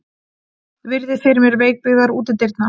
Virði fyrir mér veikbyggðar útidyrnar.